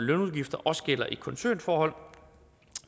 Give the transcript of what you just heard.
lønudgifter også gælder i koncernforhold